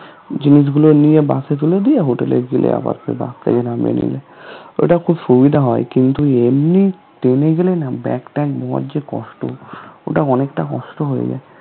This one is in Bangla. জিনিসগুলো নিয়ে bus এ তুলে দিয়ে hotel এ গিয়ে আবার সেই bus থেকে নামিয়ে নিলে ওটা খুব সুবিধা হয় কিন্তু এমনিত train এ গেলে না bag ট্যাগ বয়ার যে কষ্ট ওটা অনেকটা কষ্ট হয়ে যায়